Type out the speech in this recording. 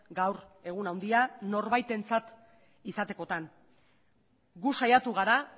gaur egun handia norbaitentzat izatekotan gu saiatu gara